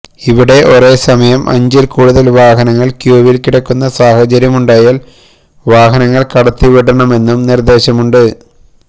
ഇവിടെ ഒരേ സമയം അഞ്ചില് കൂടുതല് വാഹനങ്ങള് ക്യൂവില് കിടക്കുന്ന സാഹചര്യമുണ്ടായാല് വാഹനങ്ങള് കടത്തി വിടണമെന്നും നിര്ദ്ദേശമുണ്ട്